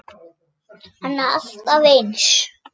Hann er alltaf eins.